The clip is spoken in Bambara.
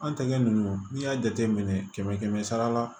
An tɛgɛ ninnu n'i y'a jate minɛ kɛmɛ kɛmɛ sara la